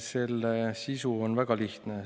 Selle sisu on väga lihtne.